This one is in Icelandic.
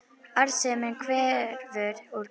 Arðsemin hverfur úr greininni